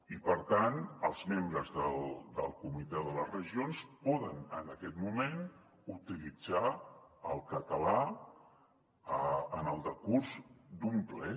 i per tant els membres del comitè de les regions poden en aquest moment utilitzar el català en el decurs d’un ple